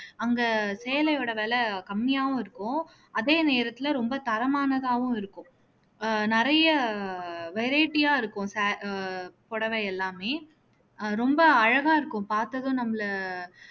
அங்க சேலையோட விலை கம்மியாவும் இருக்கும் அதே நேரத்துல ரொம்ப தரமானதாகவும் இருக்கும் ஆஹ் நிறையா variety ஆ இருக்கும் சே அஹ் புடவை எல்லாமே அஹ் ரொம்ப அழகா இருக்கும் பார்த்ததும் நம்மள